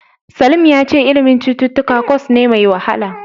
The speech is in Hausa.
Salim ya ce ilimin cututtuka kwas ne mai wahala.